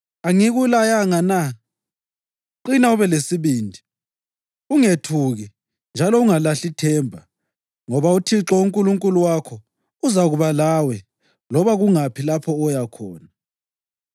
Angikulayanga na? Qina ube lesibindi, ungethuki njalo ungalahli ithemba, ngoba uThixo uNkulunkulu wakho uzakuba lawe loba kungaphi lapho oya khona.”